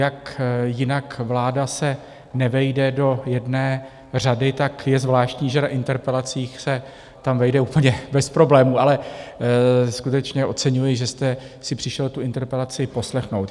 Jak jinak, vláda se nevejde do jedné řady, tak je zvláštní, že na interpelacích se tam vejde úplně bez problémů, ale skutečně oceňuji, že jste si přišel tu interpelaci poslechnout.